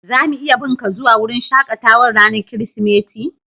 Za mu iya bin ka zuwa wurin shakatawan ranan kiristimeti?